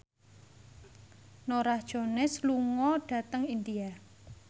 Norah Jones lunga dhateng India